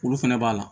Olu fɛnɛ b'a la